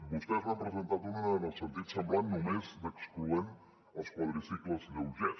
vostès n’han presentat una en un sentit semblant només excloent els quadricicles lleugers